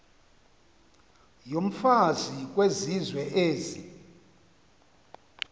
yomfazi kwizizwe ezi